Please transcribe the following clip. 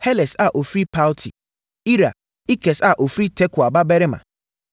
Heles a ɔfiri Palti; Ira, Ikes a ɔfiri Tekoa babarima;